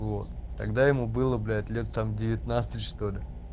вот тогда ему было блять лет девятнадцать что ли